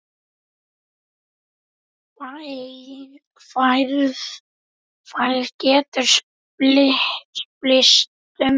Færð getur spillst um tíma.